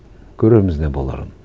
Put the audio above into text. көрерміз не боларын